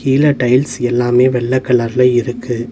கீழ டைல்ஸ் எல்லாமே வெள்ள கலர்ல இருக்கு.